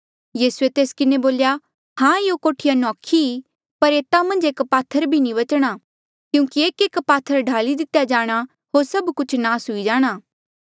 यीसूए तेस किन्हें बोल्या हां यूं कोठिया नौखी ई पर एता मन्झ एक पात्थर भी नी बचणा क्यूंकि एकएक पात्थर ढाली दितेया जाणा होर सभ कुछ नास हुई जाणा